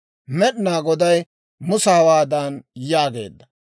Med'inaa Goday Musa hawaadan yaageedda;